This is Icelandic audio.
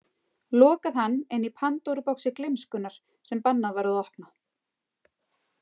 Lokað hann inni í Pandóruboxi gleymskunnar sem bannað var að opna.